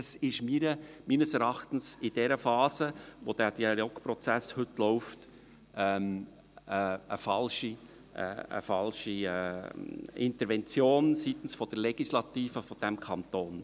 Das ist meines Erachtens in dieser Phase, in der Dialogprozess heute läuft, eine falsche Intervention seitens der Legislative dieses Kantons.